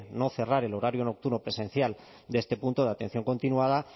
no cerrar el horario nocturno presencial de este punto de atención continuada